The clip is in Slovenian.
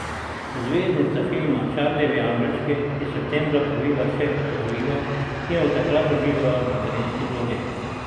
Zvezdnica filma Čarlijevi angelčki je septembra povila hčerkico Olivo in od takrat uživa v materinski vlogi.